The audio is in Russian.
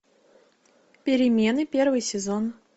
перемены первый сезон